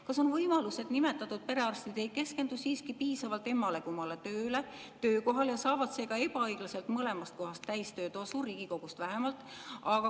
Kas on võimalus, et nimetatud perearstid ei keskendu siiski piisavalt emmale-kummale tööle ja saavad seega ebaõiglaselt mõlemast kohast täistöötasu, Riigikogust vähemalt?